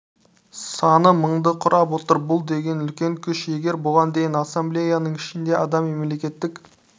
саны мыңды құрап отыр бұл деген үлкен күш егер бұған дейін ассамблеяның ішінде адам мемлекеттік